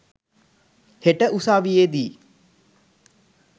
හෙට උසාවියේ දී.